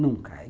Nunca.